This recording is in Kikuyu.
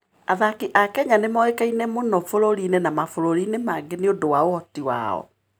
Athaki a Kenya nĩ moĩkaine mũno bũrũri-inĩ na mabũrũri-inĩ mangĩ nĩ ũndũ wa ũhoti wao.